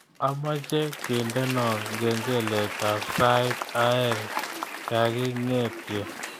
Amache kendeno kengeletab sait aeng kagingetye